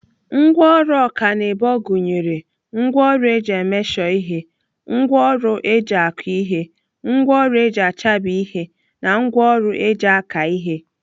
Ngwaọrụ ọkanibo gụnyere ngwaọrụ eji emeshọ ihe, ngwaọrụ eji akụ ihe, ngwaọrụ eji achabi ihe na ngwaọrụ eji aka ihe.